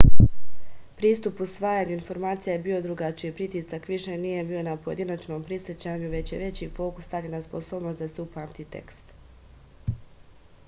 pristup usvajanju informacija je bio drugačiji pritisak više nije bio na pojedinačnom prisećanju već je veći fokus stavljen na sposobnost da se upamti tekst